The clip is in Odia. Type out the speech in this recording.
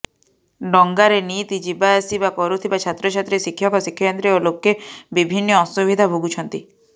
ଡଙ୍ଗାରେ ନିତି ଯିବାଆସିବା କରୁଥିବା ଛାତ୍ରଛାତ୍ରୀ ଶିକ୍ଷକଶିକ୍ଷୟତ୍ରୀ ଓ ଲୋକେ ବିଭିନ୍ନ ଅସୁବିଧା ଭୋଗୁଛନ୍ତି